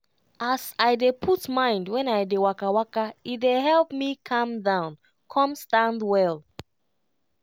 as i dey put mind when i dey waka waka e dey help me calm down con stand well.